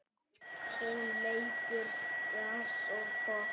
Hún leikur djass og popp.